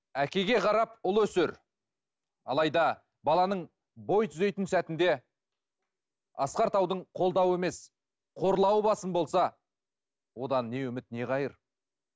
әкеге қарап ұл өсер алайда баланың бой түзейтін сәтінде асқар таудың қолдауы емес қорлауы басым болса одан не үміт не қайыр